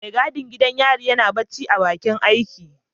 Mai gadin gidan yarin yana barci a bakin aiki.